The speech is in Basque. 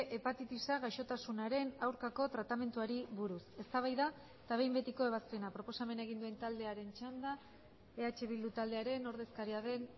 hepatitisa gaixotasunaren aurkako tratamenduari buruz eztabaida eta behin betiko ebazpena proposamena egin duen taldearen txanda eh bildu taldearen ordezkaria den